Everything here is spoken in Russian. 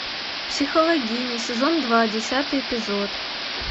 психологини сезон два десятый эпизод